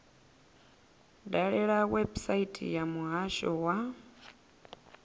dalele website ya muhasho wa